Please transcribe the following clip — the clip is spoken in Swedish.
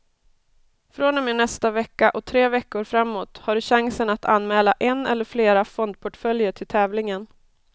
Från och med nästa vecka och tre veckor framåt har du chansen att anmäla en eller flera fondportföljer till tävlingen.